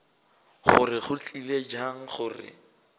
gore go tlile bjang gore